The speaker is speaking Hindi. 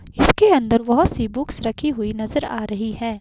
इसके अंदर बहोत सी बुक्स रखी हुई नजर आ रही है।